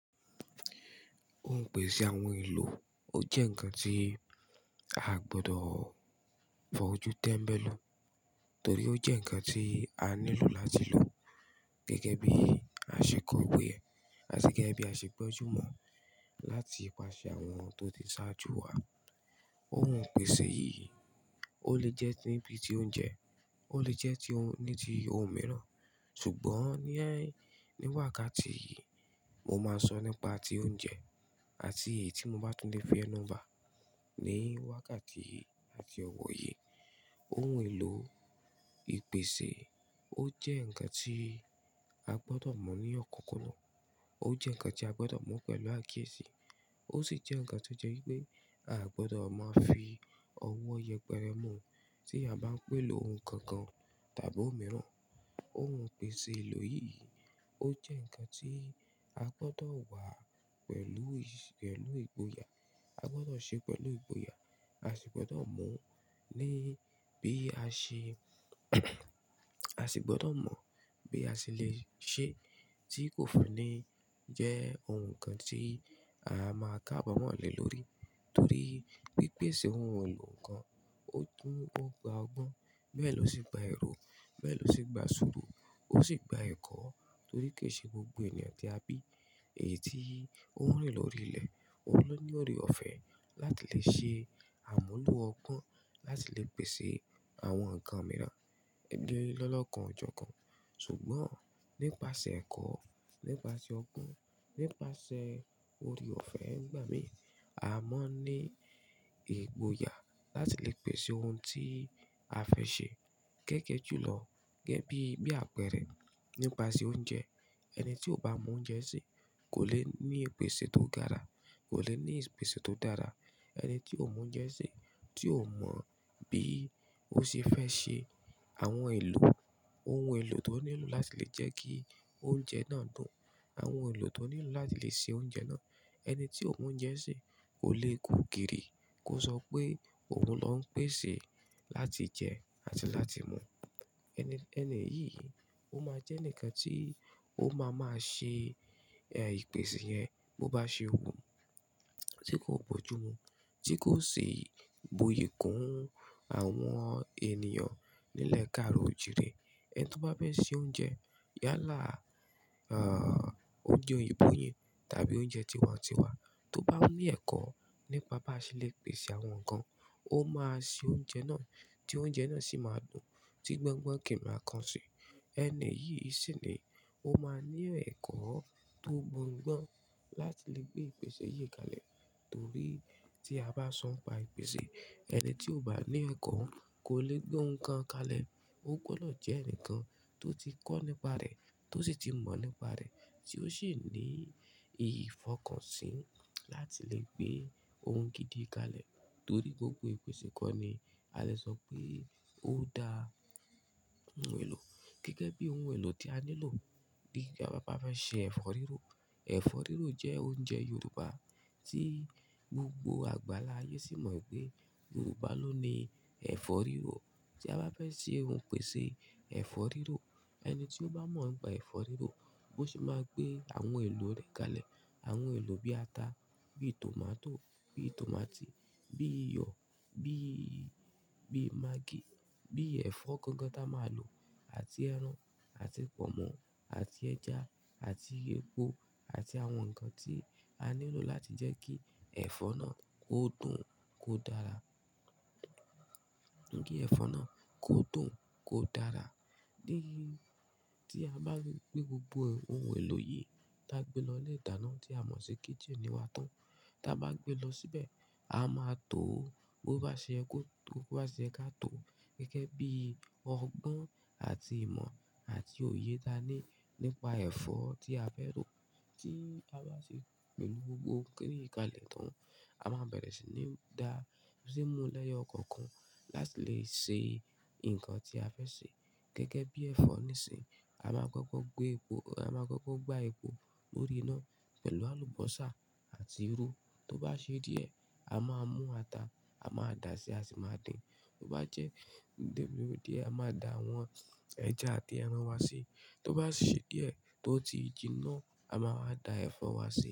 Ohun ìpèsè àwọn èlò, ó jẹ́ ǹkan tí a gbọdọ̀ fọ jú tẹ́mbẹ́lú, torí ó jẹ́ ǹkan tí a nílò láti lò gẹ́gẹ́ bí àṣekọ̀wé ẹ, àti gẹ́gẹ́ bí aṣe gbójú mọ láti pàṣẹ àwọn tó ti sáájú wa. Ohun ìpèsè yìí, ó lè jẹ́ níbi tí óúnjẹ, ó lè jẹ́ tí ó-- níbi ohun mìíràn. Ṣùgbọ́n ní wàkàtí yìí, mo máa sọ nípa ti oúnjẹ àti èyí tí mo bá tún lè fẹ́ nú bá ní wákàtí yìí àti ọ̀wọ̀ yìí. Ohun èlò ìpèsè ó jẹ́ ǹkan tí a gbọdọ̀ mọ̀ ní ọ̀kọ̀ọ̀kan náà. Ó jẹ́ ǹkan tí a gbọdọ̀ mú pẹ̀lú àkíyèsí. Ó sì jẹ́ ǹkan tí ó jẹ́ wípé àa gbọdọ̀ má fi ọwọ́ yẹpẹrẹ mu tí a bá ń pè ló ohun kan kan tàbí ohun mìíràn. Ohun ìpèsè èlò yìí, ó jẹ́ ǹkan tí a gbọdọ̀ wà pẹ̀lú ì-- pẹ̀lú ìgboyà. A gbọdọ̀ ṣe é pẹ̀lú ìgboyà. A sì gbọdọ̀ mọ̀ ní bí a ṣe a sì gbọdọ̀ mọ̀ bí a ṣe lè ṣe tí kò fún ní jẹ́ ohun kan tí a máa kábamọ́ lè lórí. Torí pipèsè ohun èlò ǹkan ó tún ó gba ọgbọ́n, bẹ́ẹ̀ ló sì gba èrò, bẹ́ẹ̀ ló sì gba sùúrù, ó sì gba ẹ̀kọ́ torí kì í ṣe gbogbo ènìyàn tí a bí èyí tí òun rìn lórí ilẹ̀, òun ló ní ore ọ̀fẹ́ láti lè ṣe àmúlò ọgbọ́n láti lè pèsè àwọn ǹkan mìíràn. Gẹ́gẹ́ lọ́kàn jókòó. Ṣùgbọ́n nípasẹ̀ ẹ̀kọ́, nípasẹ̀ ọgbọ́n, nípasẹ̀ ore òfẹ́ ń gbà mí, a mọ̀ ní ìgboyà láti lè pèsè ohun tí a fẹ́ ṣe gẹ́gẹ́ ju lọ. Gẹ́gẹ́ bí, bí àpẹẹrẹ nípasẹ̀ oúnjẹ. Ẹni tí ó bá mọ oúnjẹ ṣe kò lè ní ìpèsè tó dára, kò lè ní ìpèsè tó dára. Ẹni tí ó mọ oúnjẹ ṣe, tí ó mọ̀ bí ó ṣe fẹ́ ṣe àwọn èlò, ohun èlò tí ó nílò láti lè jẹ́ kí oúnjẹ náà dùn, àwọn èlò tó nílò láti lè ṣe oúnjẹ náà. Ẹni tí ó mọ oúnjẹ ṣe kò lè kú gìrì kí ó sọ pé òun ló ń pèsè láti jẹ àti láti mu. Ẹni, ẹni yìí, ó máa jẹ́ ẹnìkan tí ó máa máa ṣe, eh, ìpèsè yẹn bó bá ṣe òun, tí kò gbójú mu, tí kò si buyi kún àwọn ènìyàn nílẹ̀ káàro òjìrì. Ẹni tó bá fẹ́ ṣe oúnjẹ yálà, ah, oúnjẹ òyìnbó yẹn tàbí oúnjẹ tiwantiwa, tó bá ní ẹ̀kọ́ nípa bá ṣe lè pèsè àwọn ǹkan, ó máa ṣe oúnjẹ náà tí oúnjẹ náà sì máa dùn tí gbọ́ngbọ́n kì í máa kan sí i. Ẹni yìí sì ni ó máa ní ẹ̀kọ́ tó gbòògbón láti lè gbé ìpèsè yìí kalẹ̀. Torí tí a bá san pa ìpèsè, ẹni tí ò bá ní ẹ̀kọ́ kò lè gbé ohun kan kalẹ̀. Ó gbọdọ̀ jẹ́ ǹkan tó ti kọ́ nípa rẹ̀, tó sì ti mọ̀ nípa rẹ̀, tí ó ṣì ní ìfọkànsìn láti lè gbé ohun gidi kalẹ̀. Torí gbogbo ìpèsè kọ́ ni a lè sọ pé ó da ohun èlò. Gẹ́gẹ́ bí ohun èlò tí a nílò bí ká bá fẹ́ ṣe ẹ̀fọ́ rírò. Ẹ̀fọ́ rírò jẹ́ oúnjẹ Yorùbá tí gbogbo àgbàláyé sì mọ̀ pé Yorùbá ló ní ẹ̀fọ́ rírò. Tí a bá fẹ́ ṣe ohun ìpèsè ẹ̀fọ́ rírò, ẹni tí ó bá mọ̀ nípa ẹ̀fọ́ rírò, bó ṣe máa gbé àwọn èlò rẹ̀ kalẹ̀, àwọn èlò bí ata, bí tòmátò, bí tòmátì, bí iyọ̀, bí, bí maggi, bí ẹ̀fọ́ gangan tí a máa lò àti ẹran, àti pọ̀nmọ́, àti ẹja, àti epo, àti àwọn ǹkan tí a nílò láti jẹ́ kí ẹ̀fọ́ náà kó dùn, kó dára. Kí ẹ̀fọ́ náà kó dùn, kó dára. Ni, tí a bá rí pé gbogbo ohun èlò yìí tí a gbé lọ ilé ìdáná tí a mọ̀ sí kitchen nì wa tán, tí a bá gbé lọ síbẹ̀, a máa to ó bó bá ṣe ẹ kó tó, bó bá ṣe ẹ ká tó. Gẹ́gẹ́ bí ọgbọ́n àti ìmọ̀ àti òye tí a ní nípa ẹ̀fọ́ tí a fẹ́ rò. Tí a bá ṣe pèlò gbogbo kiní yí kalẹ̀ tán, a máa bẹ̀rẹ̀ sí ní da, sì nú lẹyọ kankan láti lè ṣe ǹkan tí a fẹ́ ṣe. Gẹ́gẹ́ bí ẹ̀fọ́ nísi, a máa kọ́kọ́ gbé epo, a máa kọ́kọ́ gbá epo lórí iná pẹ̀lú àlùbọ́sà àti irú. Tó bá ṣe díẹ̀, a máa mú ata, a máa dà á sí a sì máa dín. Tó bá jẹ́ díẹ̀ díẹ̀, a máa dà àwọn ẹja àti ẹran wa sí i. Tó bá ṣe díẹ̀ tó ti jiná, a máa dà ẹ̀fọ́ wa sí i.